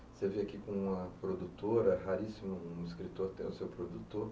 Você veio aqui com uma produtora, é raríssimo um escritor ter o seu produtor.